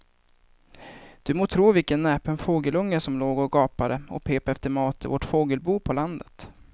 Du må tro vilken näpen fågelunge som låg och gapade och pep efter mat i vårt fågelbo på landet.